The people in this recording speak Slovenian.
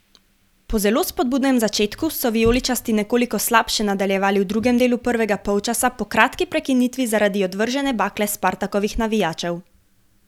Po zelo spodbudnem začetku so vijoličasti nekoliko slabše nadaljevali v drugem delu prvega polčasa po kratki prekinitvi zaradi odvržene bakle Spartakovih navijačev.